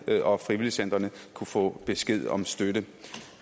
og frivilligcentrene kunne få besked om støtte